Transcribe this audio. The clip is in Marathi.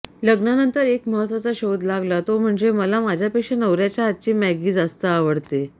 लग्नानंतर एक महत्वाचा शोध लागला तो म्हणजे मला माझ्यापेक्षा नवऱ्याच्या हातची मॅगी जास्त आवडते